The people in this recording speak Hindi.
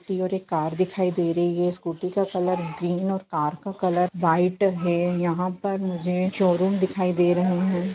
टी और एक कार दिखाई दे रही है स्कूटी का कलर ग्रीन और कार का कलर वाइट है यहाँ पर मुझे शोरूम दिखाई दे रहे है।